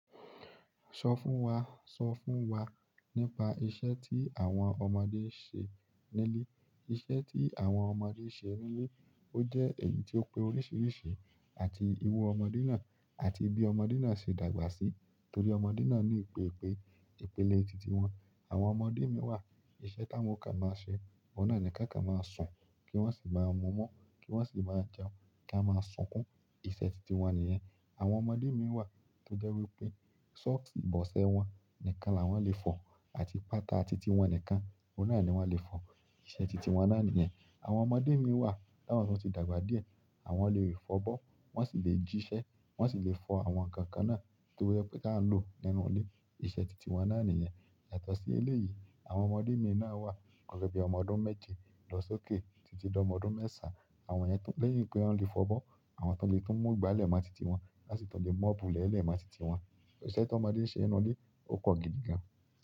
Sọ fún wa, sọ fún wa nípa iṣẹ́ tí àwọn ọmọdé ń ṣe nílé? Iṣẹ́ tí àwọn ọmọdé ń ṣe nílé, ó jẹ́ èyí tó pé oríṣiríṣi àti iru ọmọdé náà àti bí ọmọdé náà ṣe dàgbà sí. Nítorí ọmọdé náà ní ìpèpè, ìpele tìtì wọn. Àwọn ọmọdé mi wà, iṣẹ́ táwọn kàn máa ń ṣe, ọ̀nà ni ká kàn máa ń sùn kí wọ́n sì máa ń mu ọmú, kí wọ́n sì máa jẹun, kí a máa sunkún, iṣẹ́ tìtì wọn nìyẹn. Àwọn ọmọdé mi wà tó jẹ́ wípé sọ́ọ̀sì ìbọ̀sẹ̀ wọn nìkan la wọ́n lè fọ̀ àti pátà tìtì wọn nìkan, ọ̀nà ni wọ́n lè fọ̀. Ìṣẹ́ tìtì wọn náà nìyẹn. Àwọn ọmọdé mi wà tí wọ́n ti dàgbà díẹ̀, àwọn lè rí ìfọbọ́, wọ́n sì lè jíṣẹ́, wọ́n sì lè fọ àwọn nǹkan kan náà tó wípé ká lọ nínú ilé, iṣẹ́ tìtì wọn náà nìyẹn. Yàtọ̀ sí eléyìí, àwọn ọmọdé mi náà wà, ọ̀rẹ́ bí ọmọ ọdún méje lọ sókè títí lọ ọdún mẹ́ṣàn, àwọn yẹn tó lẹ́yìn pé wọ́n leè fọbọ́, àwọn tó lè tún mú ìgbálẹ̀ máa tìtì wọn won si tún leè mobu ìlẹ̀ ẹ́ lẹ̀ máa tìtì wọn. Iṣẹ́ tó ọmọdé ń ṣe inú ilé, o pọ̀ gidi gan.